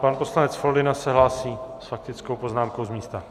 Pan poslanec Foldyna se hlásí s faktickou poznámkou z místa.